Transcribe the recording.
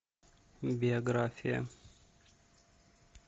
биография